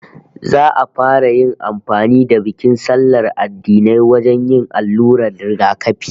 Za'a fara yin amfani da bikin sallar addinai wajen yin allurar rigakafi